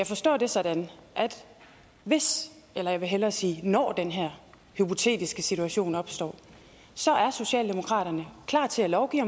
forstå det sådan at hvis jeg vil hellere sige når den her hypotetiske situation opstår er socialdemokratiet klar til at lovgive